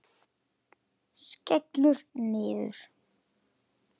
Skellur niður.